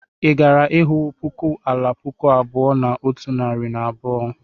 Ị gara ịhụ puku ala puku abụọ na otu narị na abụọ?